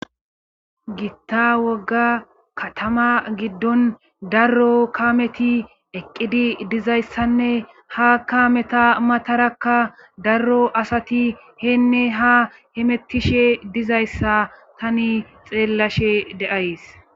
giitta wogga katama giddon darro kameti eqqidi dizayssanne ha kameta matarakka darro asati heenne ha hemettishe dizayssa tani xeellashe deays